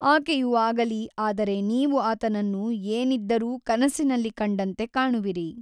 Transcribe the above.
ಆಕೆಯು ಆಗಲಿ ಆದರೆ ನೀವು ಆತನನ್ನು ಏನಿದ್ದರೂ ಕನಸಿನಲ್ಲಿ ಕಂಡಂತೆ ಕಾಣುವಿರಿ.